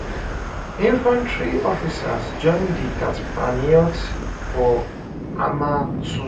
infantry officers join di tatzpitaniyot for hamal too